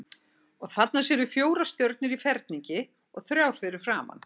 Og þarna sérðu fjórar stjörnur í ferningi og þrjár fyrir framan.